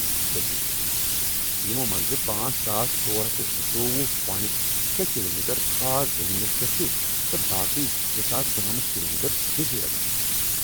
صحیحی، یمو منٛزٕ پانژھ ساس ژور ہتھ تہٕ زٕتووُہ پونٹ شےٚ کلومیٹر خاص زمیٖنس پیٹھ چُھ تہٕ باقی زٕساس ژُنمتھ کلومیٹر جزیرن منز